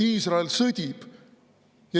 Iisrael sõdib.